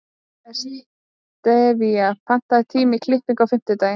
Estiva, pantaðu tíma í klippingu á fimmtudaginn.